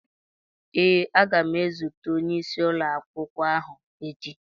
Ee, aga m ezute onyeisi ụlọakwụkwọ ahụ echi.